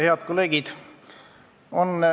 Head kolleegid!